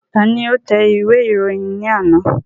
Ta ni ó tẹ ìwé ìròyìn ní àná?